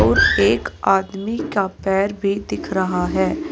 और एक आदमी का पैर भी दिख रहा है।